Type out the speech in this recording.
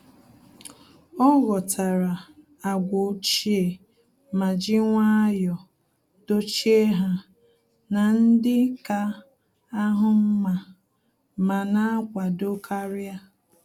Ọ́ ghọ́tàrà àgwà ochie ma jì nwayọ́ọ̀ dọ́chíé ha na ndị kà áhụ́ mma ma nà-ákwàdò kàrị́à.